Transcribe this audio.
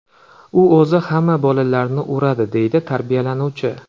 U o‘zi hamma bolalarni uradi”, deydi tarbiyalanuvchi.